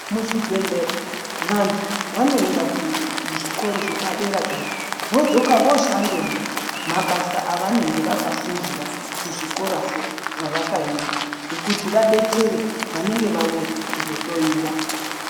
Muzvibhedhlera vantu vanoenda kuzvikoro zvepadera-dera, vodzoka voshandemwo mabasa avanenge vakafundira kuzvikorazvo zvevakaenda kuti vadetsere vanenge vauya kuzohloyiwa.